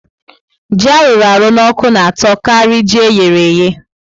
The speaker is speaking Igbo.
Ji arụrụ n'oku na atọ kari ji eyereye